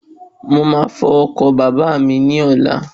Mo ma fọ̀ ọ̀kadà bàbá mi ní ọ̀la